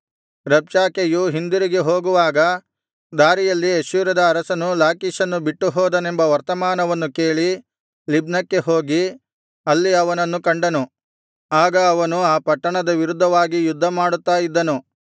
ರಬ್ಷಾಕೆಯು ಹಿಂದಿರುಗಿ ಹೋಗುವಾಗ ದಾರಿಯಲ್ಲಿ ಅಶ್ಶೂರದ ಅರಸನು ಲಾಕೀಷನ್ನು ಬಿಟ್ಟು ಹೋದನೆಂಬ ವರ್ತಮಾನವನ್ನು ಕೇಳಿ ಲಿಬ್ನಕ್ಕೆ ಹೋಗಿ ಅಲ್ಲಿ ಅವನನ್ನು ಕಂಡನು ಆಗ ಅವನು ಆ ಪಟ್ಟಣದ ವಿರುದ್ಧವಾಗಿ ಯುದ್ಧಮಾಡುತ್ತಾ ಇದ್ದನು